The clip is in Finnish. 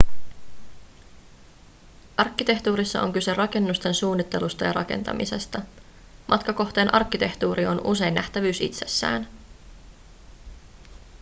arkkitehtuurissa on kyse rakennusten suunnittelusta ja rakentamisesta matkakohteen arkkitehtuuri on usein nähtävyys itsessään